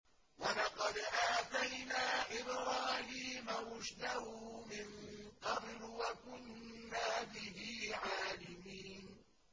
۞ وَلَقَدْ آتَيْنَا إِبْرَاهِيمَ رُشْدَهُ مِن قَبْلُ وَكُنَّا بِهِ عَالِمِينَ